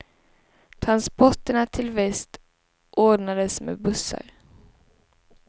Transporterna till väst ordnades med bussar.